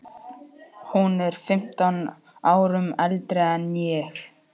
Hún er fimmtán árum eldri en ég.